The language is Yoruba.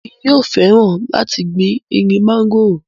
èmi yóò fẹ́ràn láti gbin igi mọ́ngòrò